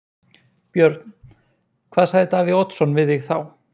Björn: Hvað sagði Davíð Oddsson við þig þá?